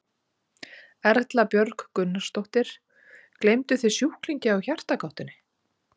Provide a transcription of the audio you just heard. Erla Björg Gunnarsdóttir: Gleymduð þið sjúklingi á Hjartagáttinni?